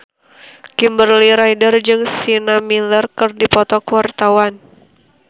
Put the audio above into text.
Kimberly Ryder jeung Sienna Miller keur dipoto ku wartawan